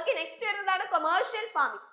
okay next വരുന്നതാണ് commercial farming